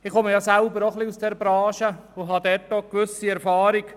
Ich komme selber aus dieser Branche und habe eine gewisse Erfahrung.